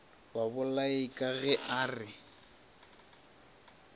babolai ka ge a re